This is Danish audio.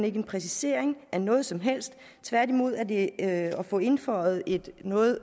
ikke en præcisering af noget som helst tværtimod er det at at få indføjet et noget